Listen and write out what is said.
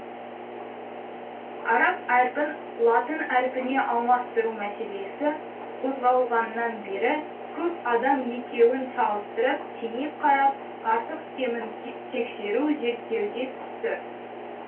араб әрпін латын әрпіне алмастыру мәселесі қозғалғаннан бері көп адам екеуін салыстырып теңеп қарап артық кемін тексеру зерттеуге түсті